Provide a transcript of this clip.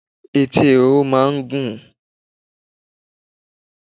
Etí ehoro máa ń gùn.